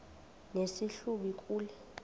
nesi hlubi kule